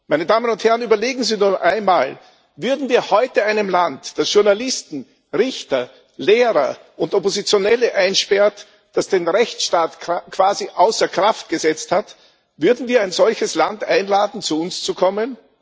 Meine Damen und Herren, überlegen Sie doch einmal Würden wir heute ein Land, das Journalisten, Richter, Lehrer und Oppositionelle einsperrt, das den Rechtsstaat quasi außer Kraft gesetzt hat, einladen, zu uns zu kommen?